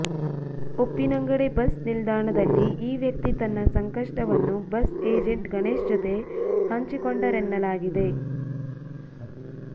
Uppinangady bus ನಿಲ್ದಾಣದಲ್ಲಿ ಈ ವ್ಯಕ್ತಿ ತನ್ನ ಸಂಕಷ್ಟವನ್ನು ಬಸ್ ಏಜೆಂಟ್ ಗಣೇಶ್ ಜೊತೆ ಹಂಚಿಕೊಂಡರೆನ್ನಲಾಗಿದೆ